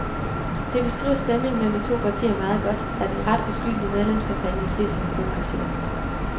Det beskriver stemningen mellem de to partier meget godt, at en ret uskyldig medlemskampagne ses som en provokation.